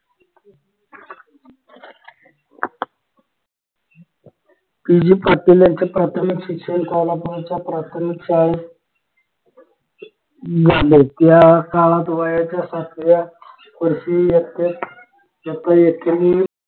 P G Patil यांचे प्राथमिक शिक्षण कोल्हापूरच्या प्राथमिक शाळेत झाले त्या काळात वयाच्या सातव्या वर्षी इयतेत